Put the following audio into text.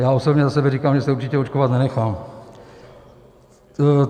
Já osobně za sebe říkám, že se určitě očkovat nenechám.